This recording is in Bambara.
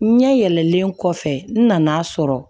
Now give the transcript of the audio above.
N ɲɛ yɛlɛlen kɔfɛ n nana sɔrɔ